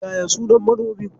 Yaya sunan manomin?